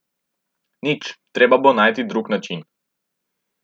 Nič, treba bo najti drug način.